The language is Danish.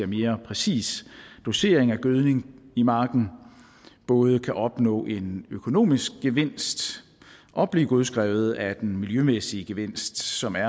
mere præcis dosering af gødning i marken både kan opnå en økonomisk gevinst og blive godskrevet af den miljømæssige gevinst som er